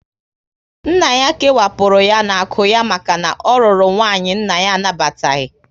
Nna ya kewapụrụ ya n'akụ ya maka na ọ rụrụ nwanyị nna ya anabataghị